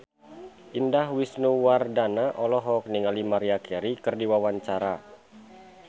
Indah Wisnuwardana olohok ningali Maria Carey keur diwawancara